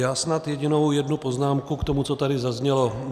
Já snad jedinou jednu poznámku k tomu, co tady zaznělo.